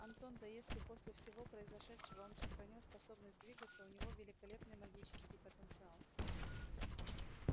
антон да если после всего произошедшего он сохранил способность двигаться у него великолепный магический потенциал